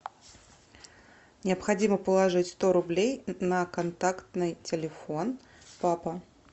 необходимо положить сто рублей на контактный телефон папа